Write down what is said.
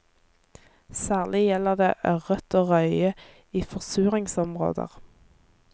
Særlig gjelder det ørret og røye i forsuringsområder.